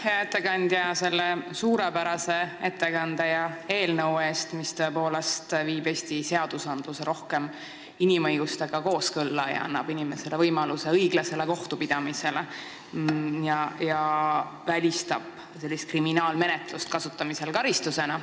Aitäh, hea ettekandja, selle suurepärase ettekande ja eelnõu eest, mis viib Eesti seadused tõepoolest rohkem kooskõlla inimõigustega ning annab inimesele võimaluse õiglasele kohtupidamisele ja välistab n-ö kriminaalmenetluse kasutamise karistusena.